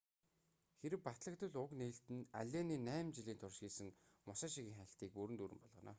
хэрэв батлагдвал уг нээлт нь аллений найман жилийн турш хийсэн мусашигийн хайлтыг бүрэн дүүрэн болгоно